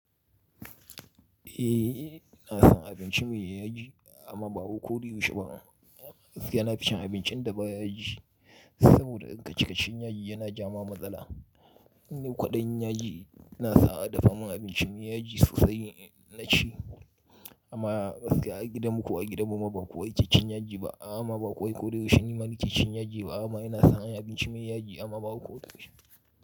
Eh, ina son abinci mai yaji amma ba ko da yaushe ba. Gaskiya na fi cin abincin da ba yaji saboda ka cika cin yaji yana ja ma matsala. Ni kwaɗayin yaji ina sawa a dafa mun abinci mai yaji sosai na ci amma gaskiya a gidan mu ko a gidan mu ma ba kowa ke cin yaji ba amma ba ko da yaushe nima nake cin yaji ba amma ina son yin abinci mai yaji amma ba ko da yaushe.